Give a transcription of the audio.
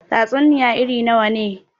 Tatsuniya irn nawa ne?